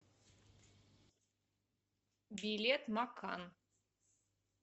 билет макан